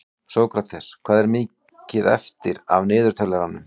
Sókrates, hvað er mikið eftir af niðurteljaranum?